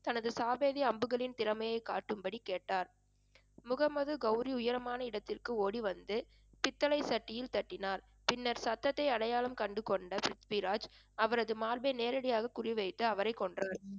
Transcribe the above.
தனது சாதுரிய அம்புகளின் திறமையை காட்டும்படி கேட்டார். முகமது கௌரி உயரமான இடத்திற்கு ஓடி வந்து பித்தளை சட்டியில் தட்டினார். பின்னர் சத்தத்தை அடையாளம் கண்டுகொண்ட பிரித்விராஜ் அவரது மார்பை நேரடியாக குறிவைத்து அவரைக் கொன்றார்